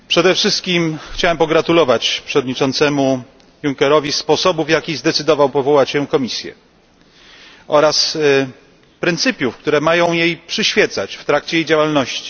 Przede wszystkim chciałbym pogratulować przewodniczącemu Junckerowi sposobu, w jaki zdecydował się powołać Komisję, oraz pryncypiów, które mają jej przyświecać w trakcie działalności.